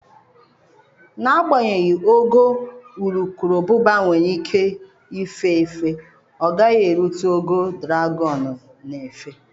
N'agbanyeghị ogo urukurubụba nwere ike ife efe, ọ gaghị erute ogo dragọn n'éfè.